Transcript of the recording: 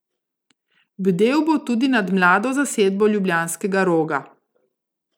Bdel bo tudi nad mlado zasedbo ljubljanskega Roga.